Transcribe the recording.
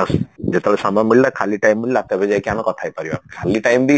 ଆଉ ସେ ଯେତେବେଳେ ସମୟ ମିଳିଲା ଖାଲି time ମିଳିଲା ତେବେ ଯାଇକି ଆମେ କଥା ହେଇପାରିବା ଖାଲି time ବି